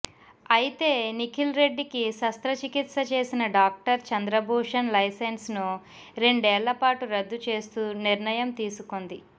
అయితే నిఖిల్ రెడ్డి కి శస్త్రచికిత్స చేసిన డాక్టర్ చంద్రభూషన్ లైసెన్స్ ను రెండేళ్ళపాటు రద్దు చేస్తూ నిర్ణయం తీసుకొంది